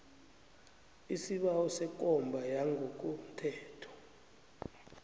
isibawo sekomba yangokothetho